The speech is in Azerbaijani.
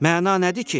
Məna nədir ki?